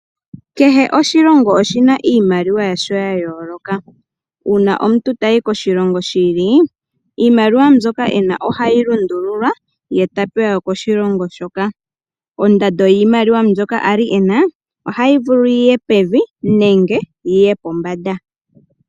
Kehe oshilongo oshi na iimaliwa yasho ya yooloka. Uuna omuntu tayi koshilongo shi ili, iimaliwa mbyoka ena ohayi lundululwa ye ta pewa yokoshilongo shoka. Ondando yiimaliwa mbyoka a li ena ohayi vulu yiye pevi nenge yiye pombanda.